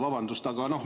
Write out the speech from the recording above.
Vabandust!